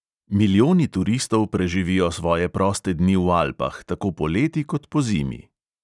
Milijoni turistov preživijo svoje proste dni v alpah, tako poleti kot pozimi.